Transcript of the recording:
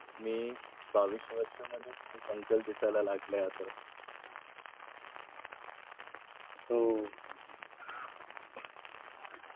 मी बावीस वर्ष मध्येच एक uncle दिसाय लागले आता. हो